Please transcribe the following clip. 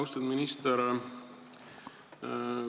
Austatud minister!